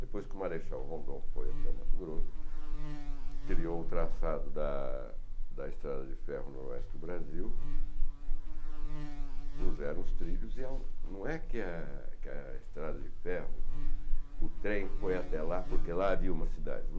Depois que o marechal Rondon foi até o Mato Grosso, criou o traçado da da estrada de ferro noroeste do Brasil, puseram os trilhos e não é que a que a estrada de ferro, o trem foi até lá porque lá havia uma cidade.